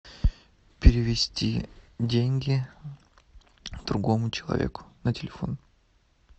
перевести деньги другому человеку на телефон